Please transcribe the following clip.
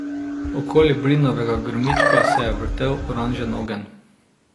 Okoli brinovega grmička se je vrtel oranžen ogenj.